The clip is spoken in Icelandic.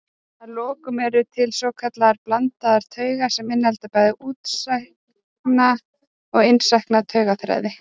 Að lokum eru til svokallaðar blandaðar taugar sem innihalda bæði útsækna og innsækna taugaþræði.